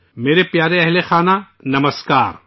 میرے پیارے ہم وطنوں، نمسکار